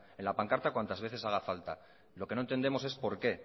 en la pancarta cuantas veces haga falta lo que no entendemos es por qué